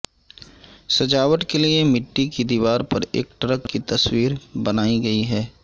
سجاوٹ کے لیے مٹی کی دیوار پر ایک ٹرک کی تصویر بنائی گئی ہے